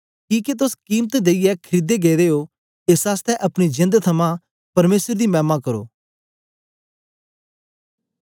किके तोस कीमत देईयै खरीदे गेदे ओ एस आसतै अपनी जेंद थमां परमेसर दी मैमा करो